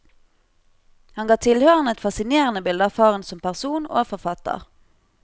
Han ga tilhørerne et fascinerende bilde av faren som person og forfatter.